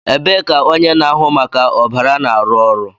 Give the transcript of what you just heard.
Ebee ka onye na-ahụ maka ọbara na-arụ ọrụ